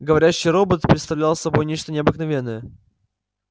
говорящий робот представлял собой нечто необыкновенное